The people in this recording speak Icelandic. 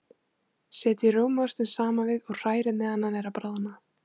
Setjið rjómaostinn saman við og hrærið meðan hann er að bráðna.